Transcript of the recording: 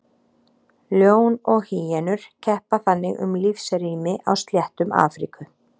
Ljón og hýenur keppa þannig um lífsrými á sléttum Afríku.